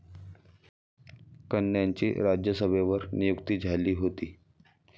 कन्यांची राज्यसभेवर नियुक्ती झाली होती.